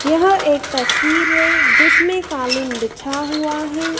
यह एक तस्वीर है जिसमें कालीन बिछा हुआ है।